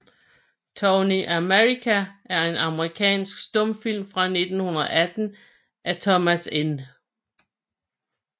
Tony America er en amerikansk stumfilm fra 1918 af Thomas N